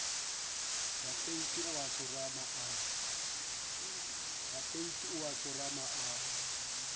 tapeiti o a tsorama a